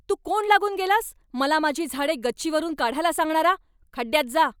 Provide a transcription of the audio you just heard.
तू कोण लागून गेलास मला माझी झाडे गच्चीवरून काढायला सांगणारा? खड्ड्यात जा!